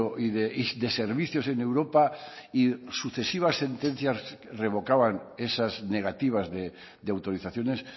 y de servicios en europa y sucesivas sentencias revocaban esas negativas de autorizaciones